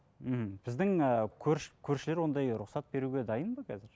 мхм біздің ііі көршілер ондай рұқсат беруге дайын ба қазір